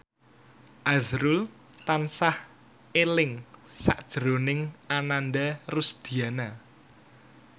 azrul tansah eling sakjroning Ananda Rusdiana